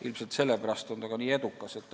Ilmselt sellepärast on see ka nii edukaks osutunud.